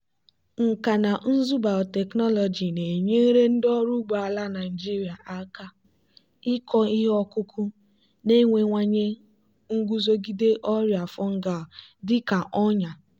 nkà na ụzụ biotechnology na-enyere ndị ọrụ ugbo ala nigeria aka ịkọ ihe ọkụkụ na-enwewanye nguzogide ọrịa fungal dị ka ọnya.